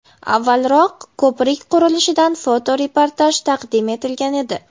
Avvalroq ko‘prik qurilishidan fotoreportaj taqdim etilgan edi.